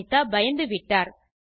Anitha பயந்துவிட்டார்